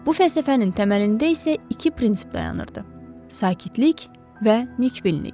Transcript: Bu fəlsəfənin təməlində isə iki prinsip dayanırdı: Sakitlik və Nikbinlik.